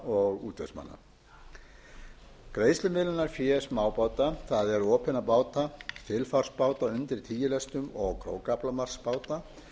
og útvegsmanna greiðslumiðlunarfé smábáta það er opinna báta þilfarsbáta undir tíu lestum og krókaaflamarksbáta